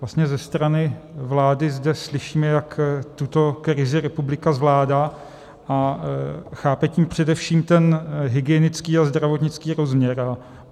Vlastně ze strany vlády zde slyšíme, jak tuto krizi republika zvládá, a chápe tím především ten hygienický a zdravotnický rozměr.